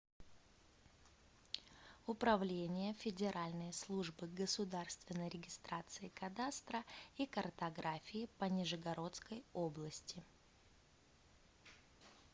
управление федеральной службы государственной регистрации кадастра и картографии по нижегородской области